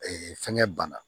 fɛngɛ banna